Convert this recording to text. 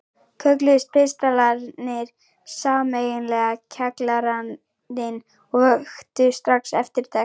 Kölluðust pistlarnir sameiginlega Kjallarinn og vöktu strax eftirtekt.